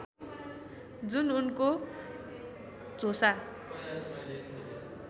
जुन उनको झोसा